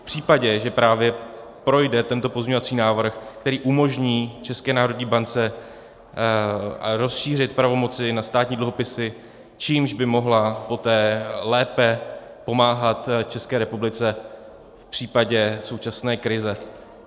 V případě, že právě projde tento pozměňovací návrh, který umožní České národní bance rozšířit pravomoci na státní dluhopisy, čímž by mohla poté lépe pomáhat České republice v případě současné krize.